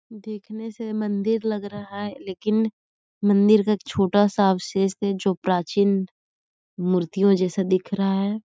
देखने से मंदिर लग रहा है लेकिन मंदिर का छोटा सा अवशेष हैजो प्राचीन मूर्तियों जैसा दिख रहा है।